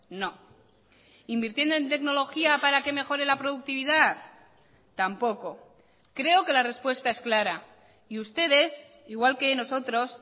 no invirtiendo en tecnología para que mejore la productividad tampoco creo que la respuesta es clara y ustedes igual que nosotros